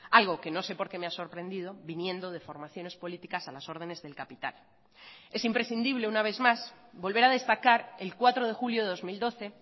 algo que no sé porque me ha sorprendido viniendo de formaciones políticas a las órdenes del capital es imprescindible una vez más volver a destacar el cuatro de julio de dos mil doce